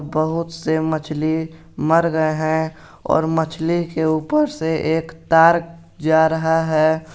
बहुत से मछली मर गए हैं और मछली के ऊपर से एक तार जा रहा है।